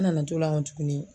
An nana to la kɔn tuguni